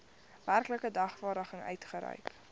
werklike dagvaarding uitgereik